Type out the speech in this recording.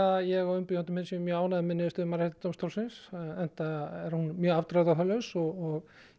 ég og umbjóðandi minn séum mjög ánægð með þessa niðurstöðu Mannréttindadómstólsins enda er hún mjög afdráttarlaus og